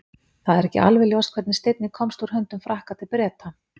það er ekki alveg ljóst hvernig steinninn komst úr höndum frakka til breta